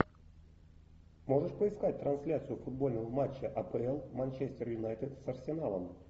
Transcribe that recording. можешь поискать трансляцию футбольного матча апл манчестер юнайтед с арсеналом